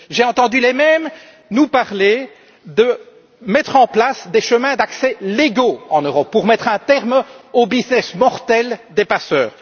J'ai entendu les mêmes nous parler de mettre en place des chemins d'accès légaux en Europe pour mettre un terme au business mortel des passeurs.